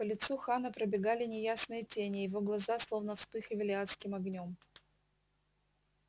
по лицу хана пробегали неясные тени его глаза словно вспыхивали адским огнём